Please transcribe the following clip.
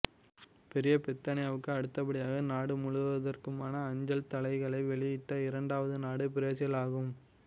பெரிய பிரித்தானியாவுக்கு அடுத்தபடியாக நாடு முழுவதற்குமான அஞ்சல்தலைகளை வெளியிட்ட இரண்டாவது நாடு பிரேசில் ஆகும்